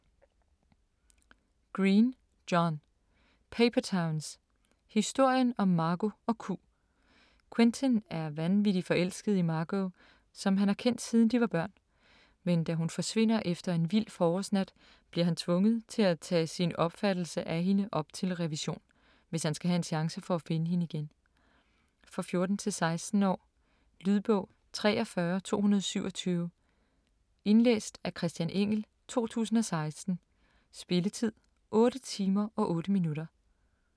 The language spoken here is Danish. Green, John: Paper towns: historien om Margo & Q Quentin er vanvittig forelsket i Margo, som han har kendt siden de var børn, men da hun forsvinder efter en vild forårsnat bliver han tvunget til at tage sin opfattelse af hende op til revision, hvis han skal have en chance for at finde hende igen. For 14-16 år. Lydbog 43227 Indlæst af Christian Engell, 2016. Spilletid: 8 timer, 8 minutter.